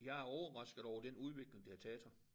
Jeg er overrasket over den udvikling det har taget her